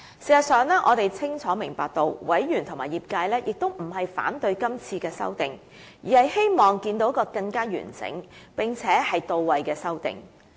事實上，我們清楚明白到委員和業界也並非反對是次修訂，而是希望看見更完整，並且到位的修訂。